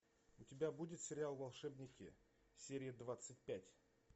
у тебя будет сериал волшебники серия двадцать пять